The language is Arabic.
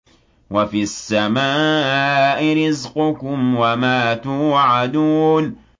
وَفِي السَّمَاءِ رِزْقُكُمْ وَمَا تُوعَدُونَ